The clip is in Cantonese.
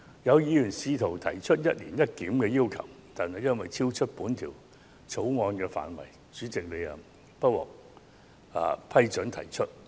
有議員甚至提出"一年一檢"的要求，但最終因為超出《條例草案》的範圍，因此不獲主席批准提出。